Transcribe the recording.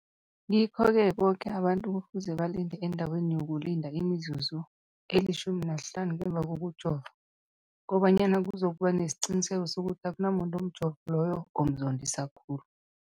Ngikho-ke boke abantu kufuze balinde endaweni yokulinda imizuzu eli-15 ngemva kokujova, kobanyana kuzokuba nesiqiniseko sokuthi akunamuntu umjovo loyo omzondisa khulu.